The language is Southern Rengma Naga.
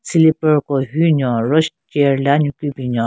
Slipper ku hyu nyon ro chair le anyu ki binyon.